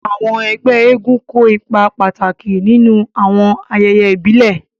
Àwọn ẹ́gbẹ èègún kó ipa pàtàki ninu awọn àyẹyẹ ibile.